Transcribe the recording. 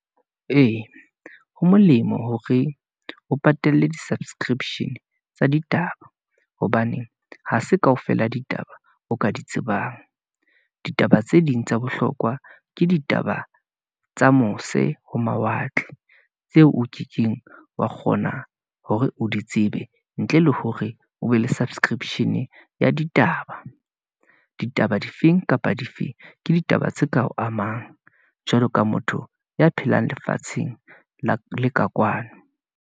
Ee, ho molemo hore o patalle di-subscription tsa ditaba, hobane ha se kaofela ditaba o ka di tsebang. Ditaba tse ding tsa bohlokwa ke ditaba tsa mose ho mawatle, tseo o kekeng wa kgona hore o di tsebe, ntle le hore o be le subscription ya ditaba. Ditaba difeng kapa difeng, ke ditaba tse ka o amang. Jwalo ka motho ya phelang lefatsheng la le ka kwano.